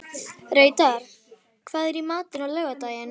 Reidar, hvað er í matinn á laugardaginn?